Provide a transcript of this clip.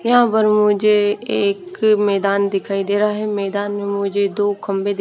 यहाँ पर मुझे एक मैदान दिखाई दे रहा है मैदान में मुझे दो खंबे दि--